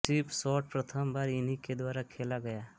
SVEEP shot प्रथम बार इन्ही के द्वारा खेला गया